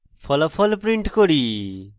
ফলাফল print করি